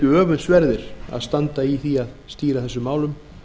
öfundsverðir að standa í því að stýra þessum málum